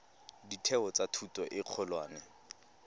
ditheo tsa thuto e kgolwane